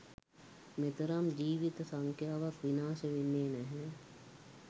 මෙතරම් ජීවිත සංඛ්‍යාවක් විනාශ වෙන්නේ නැහැ.